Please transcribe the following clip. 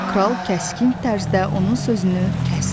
Kral kəskin tərzdə onun sözünü kəsdi.